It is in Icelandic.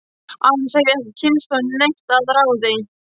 Annars hef ég ekki kynnst honum neitt að ráði.